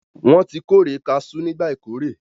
Wọn tí kórè cashews nígbà ìkórè